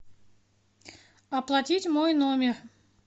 оплатить мой номер